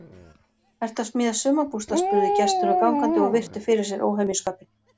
Ertu að smíða sumarbústað? spurðu gestir og gangandi og virtu fyrir sér óhemjuskapinn.